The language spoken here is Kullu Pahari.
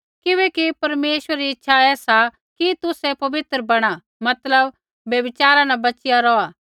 किबैकि परमेश्वरै री इच्छा ऐ सा कि तुसै पवित्र बैणा मतलब व्यभिचारा न बच़िया रौहलै